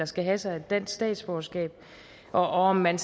skal have sig et dansk statsborgerskab og om man